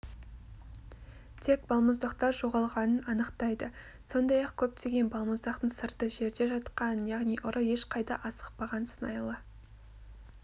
тек балмұздақтар жоғалғанын анықтайды сондай-ақ көптеген балмұздақтың сырты жерде жатқан яғни ұры ешқайда асықпаған сыңайлы